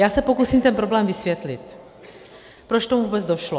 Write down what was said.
Já se pokusím ten problém vysvětlit, proč k tomu vůbec došlo.